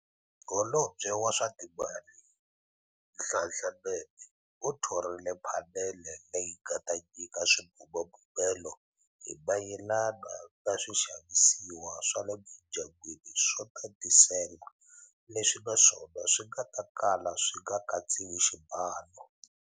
Holobye wa swa Timali, Nhlanhla Nene u thorile phanele leyi nga ta nyika swibumabumelo hi mayelana na swixavisiwa swa le mindyangwini swo tatisela leswi naswona swi nga ta kala swi nga katsiwi xibalo.